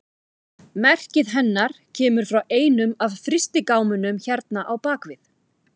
Merkið hennar kemur frá einum af frystigámunum hérna á bak við.